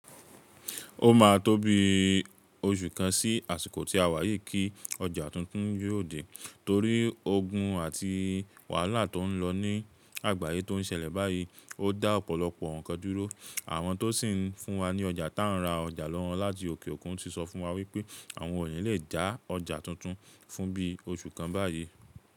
Ó ma tó bí oṣù kan sí àsìkò tí àwa yìí kí ọjà tuntun yóò dé. Torí ogun àti wàhálà tó ń lọ ní àgbáyé tó ń ṣẹlẹ̀ báyìí, ó dá ọ̀pọ̀lọpọ̀ ǹkan dúró. Àwọn tó sì ń fún wa ní ọjà tá ra ọjà lọ́wọ́ láti òkè òkun ti sọ fún wa wípé àwọn oòlè lè já ọjà tuntun fún bí oṣù kan báyìí.